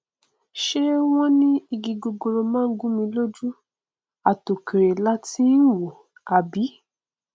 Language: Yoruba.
ṣé wọn ní igi gogoro má gúnmi lójú àtòkèrè làá tí í wòó àbí